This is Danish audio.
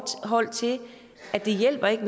og jeg